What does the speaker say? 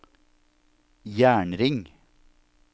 jernring